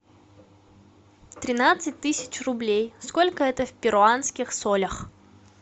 тринадцать тысяч рублей сколько это в перуанских солях